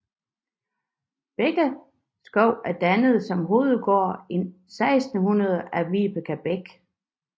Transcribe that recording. Bækkeskov er dannet som hovedgård i 1600 af Vibeke Beck